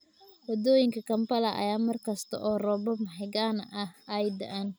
Waddooyinka Kampala ayaa mar kasta oo roobab mahiigaan ah ay da'aan.